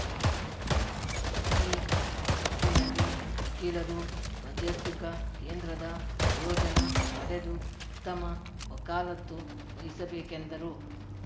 ಈ ನಿಟ್ಟಿನಲ್ಲಿ ವಕೀಲರು ಮಧ್ಯಸ್ಥಿಕಾ ಕೇಂದ್ರದ ಪ್ರಯೋಜನ ಪಡೆದು ಉತ್ತಮ ವಕಾಲತ್ತು ವಹಿಸಬೇಕೆಂದರು